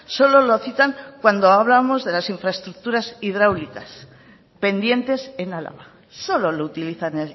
solo lo citan cuando hablamos de las infraestructuras hidráulicas pendientes en álava solo lo utilizan